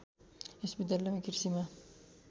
यस विद्यालयमा कृषिमा